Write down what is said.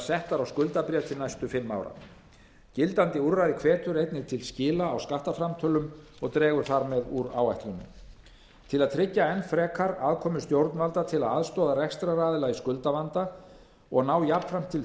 settar á skuldabréf til næstu fimm ára gildandi úrræði hvetur einnig til skila á skattframtölum og dregur þar með úr áætlunum til að tryggja enn frekar aðkomu stjórnvalda til aðstoðar rekstraraðilum í skuldavanda og ná jafnframt til